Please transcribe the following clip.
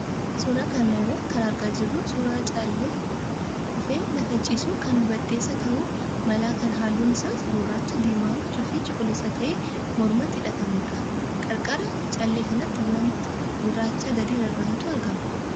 Suuraa kana irraa kan argaa jirru suuraa callee kufee lafa ciisu kan bades ta'uu mala kan halluun isaas gurraacha, diimaa fi cuquliisa ta'ee mormatti hidhatamudha. Qarqara callee kanaatti wanta gurraacha gadi rarra'utu argama.